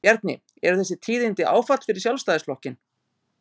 Bjarni, eru þessi tíðindi áfall fyrir Sjálfstæðisflokkinn?